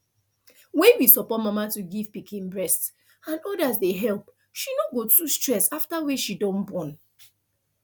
when we support mama to give pikin breast and others dey help she no go too stress after wey she don born